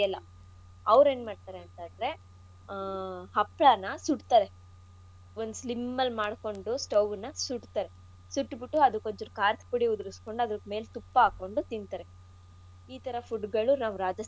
ಅವ್ರೆನ್ ಮಾಡ್ತಾರೆ ಅಂತಂದ್ರೆ ಆಹ್ ಹಪ್ಳನ ಸುಡ್ತಾರೆ ಒಂದು slim ಅಲ್ ಮಾಡ್ಕೊಂಡು stove ನ ಸುಡ್ತಾರೆ ಸುಟ್ಬುಟ್ಟು ಅದ್ಕ್ಒಂದ್ಚುರು ಖಾರದ ಪುಡಿ ಉದ್ರಸ್ಕೊಂಡ್ ಅದಕ್ ತುಪ್ಪ ಹಾಕ್ಕೊಂಡು ತಿನ್ತರೆ ಈಥರಾ food.